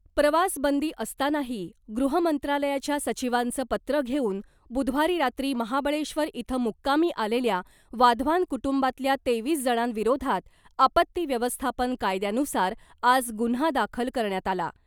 प्रवासबंदी असतानाही गृह मंत्रालयाच्या सचिवांचं पत्र घेऊन बुधवारी रात्री महाबळेश्वर इथं मुक्कामी आलेल्या वाधवान कुटुंबातल्या तेवीस जणांविरोधात आपत्ती व्यवस्थापन कायद्यानुसार आज गुन्हा दाखल करण्यात आला .